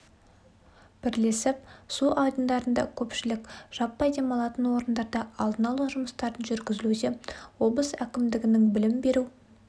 бірлесіп су айдындарында көпшілік жаппай демалатын орындарда алдын алу жұмыстарын жүргізілуде облыс әкімдігінің білім беру